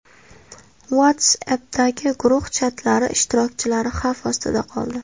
WhatsApp’dagi guruh chatlari ishtirokchilari xavf ostida qoldi.